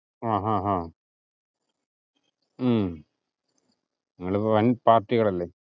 ആഹ് ആഹ് ആഹ് ഉം നിങ്ങൾ ഇപ്പൊ വൻ പാർട്ടികൾ അല്ലെ